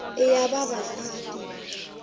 i ya vavasati